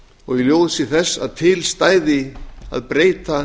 og í ljósi þess að til stæði að breyta